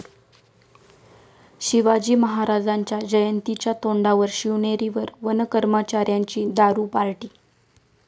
शिवाजी महाराजांच्या जयंतीच्या तोंडावर शिवनेरीवर वनकर्मचाऱ्यांची दारू पार्टी!